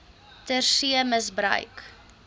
ter see misbruik